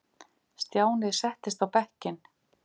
Stjáni settist á bekkinn.